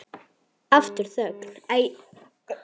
Aftur þögn.